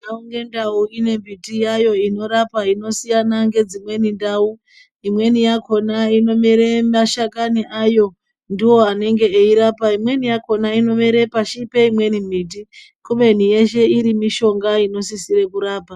Ndau nendau ine miti yayo inorapa inosiyana ngedzimweni ndau imweni yakona inomere mashakani ayo ndiwo anenge eirapa imweni yakona inomere pashi peimweni miti kubeni yeshe iri mishonga inosisire kurapa.